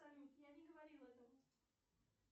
салют я не говорила этого